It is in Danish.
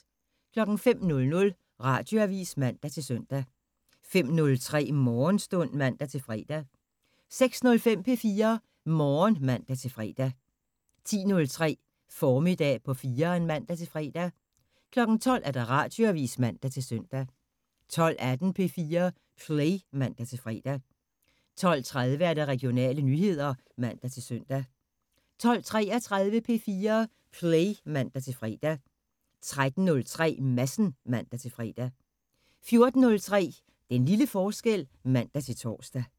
05:00: Radioavisen (man-søn) 05:03: Morgenstund (man-fre) 06:05: P4 Morgen (man-fre) 10:03: Formiddag på 4'eren (man-fre) 12:00: Radioavisen (man-søn) 12:18: P4 Play (man-fre) 12:30: Regionale nyheder (man-søn) 12:33: P4 Play (man-fre) 13:03: Madsen (man-fre) 14:03: Den lille forskel (man-tor)